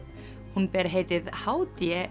hún ber heitið h d